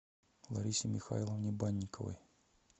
ларисе михайловне банниковой